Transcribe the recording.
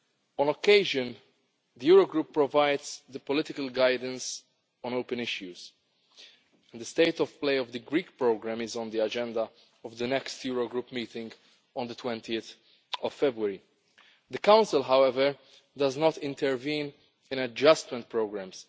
On occasion, the Eurogroup provides political guidance on open issues, and the state of play of the Greek programme is on the agenda of the next Eurogroup meeting on 20 February. The Council, however, does not intervene in adjustment programmes.